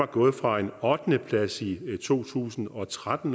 gået fra en ottendeplads i to tusind og tretten